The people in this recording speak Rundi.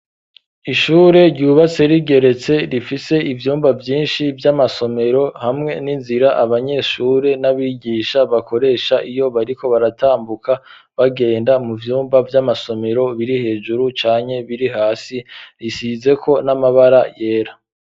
Ishure ryubatse rigeretse rifise ivyumba vyinshi vy'amasomero hamwe n'inzira abanyeshure n'abigisha bakoresha iyo bariko baratambuka bagenda mu vyumba vy'amasomero biri hejuru canke biri hasi bisizeko n'amabara yera.